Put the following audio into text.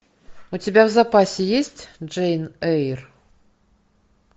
у тебя в запасе есть джейн эйр